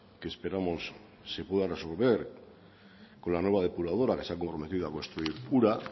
que esperamos se pueda resolver con la nueva depuradora que se ha comprometido a construir ura